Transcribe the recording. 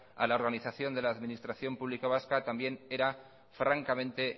a la organización de las administración pública vasca también era francamente